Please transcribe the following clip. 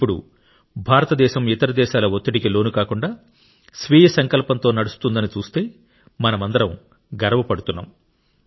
ఇప్పుడు భారతదేశం ఇతర దేశాల ఒత్తిడికి లోనుకాకుండా స్వీయ సంకల్పంతో నడుస్తుందని చూస్తే మనమందరం గర్వపడుతున్నాం